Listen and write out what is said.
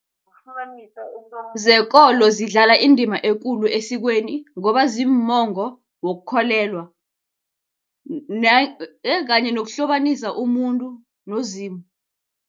Zekolo zidlala indima ekulu esikweni ngoba ziimongo wokukholelwa kanye nokuhlobanisa umuntu noZimu.